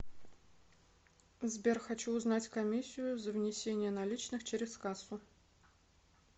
сбер хочу узнать комиссию за внесение наличных через кассу